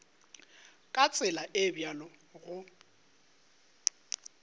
ka tsela e bjalo go